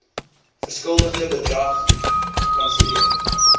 verskuldigde bedrag kanselleer